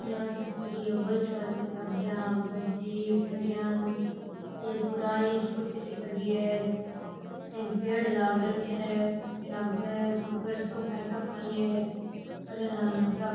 यहाँ सी खड़ी है बोली सार की गाड़ियां आगे जीप र यान एक पुरानी स्कूटी सी खड़ी है अठीने पेड़ लाग रख्या है जन अब घर सो काई ठा काई है --